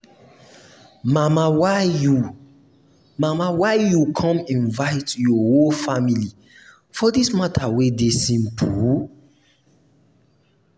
mama why you mama why you come invite your whole family for dis matter wey dey simple.